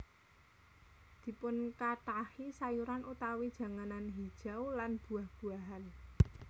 Dipunkathahi sayuran utawi janganan hijau lan buah buahan